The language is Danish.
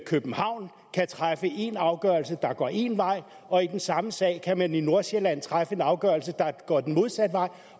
københavn kan træffe en afgørelse der går én vej og i den samme sag kan man i nordsjælland træffe en afgørelse der går den modsatte vej